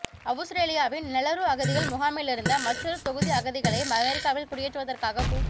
அவுஸ்ரேலியாவின் Nauru அகதிகள் முகாமிலிருந்த மற்றொரு தொகுதி அகதிகளை அமெரிக்காவில் குடியேற்றுவதற்காக கு